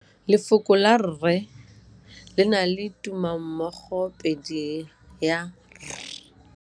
Lefoko la rre le na le tumammogôpedi ya, r.